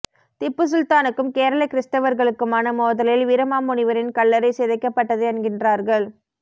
திப்பு சுல்தானுக்கும் கேரள கிறிஸ்தவர்களுக்குமான மோதலில் வீரமாமுனிவரின் கல்லறை சிதைக்கபட்டது என்கின்றார்கள்